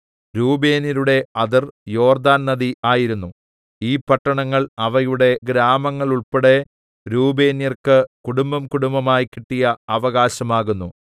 രൂബേന്യരുടെ അതിർ യോർദ്ദാൻ നദി ആയിരുന്നു ഈ പട്ടണങ്ങൾ അവയുടെ ഗ്രാമങ്ങളുൾപ്പെടെ രൂബേന്യർക്ക് കുടുംബംകുടുംബമായി കിട്ടിയ അവകാശം ആകുന്നു